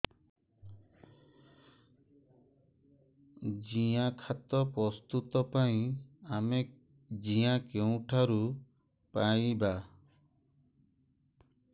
ଜିଆଖତ ପ୍ରସ୍ତୁତ ପାଇଁ ଆମେ ଜିଆ କେଉଁଠାରୁ ପାଈବା